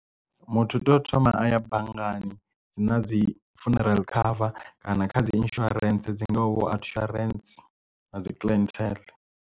Muthu u tea u thoma a ya banngani dzi na dzi funeral cover kana kha dzi insurance dzi ngaho vho Outsurance na dzi Clientele.